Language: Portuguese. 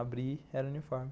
Abri, era o uniforme.